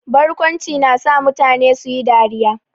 Barkwanci na sa mutane su yi dariya.